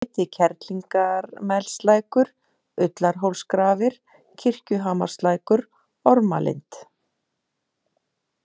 Ytri-Kerlingarmelslækur, Ullarhólsgrafir, Kirkjuhamarslækur, Ormalind